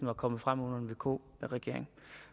var kommet frem under en vk regering